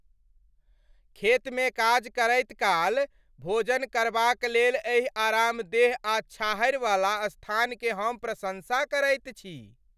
खेतमे काज करैत काल, भोजन करबाकलेल एहि आरामदेह आ छाहरि वाला स्थानकेँ हम प्रशंसा करैत छी ।